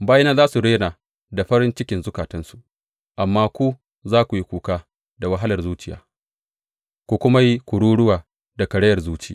Bayina za su rera da farin cikin zukatansu, amma ku za ku yi kuka daga wahalar zuciya ku kuma yi kururuwa da karayar zuci.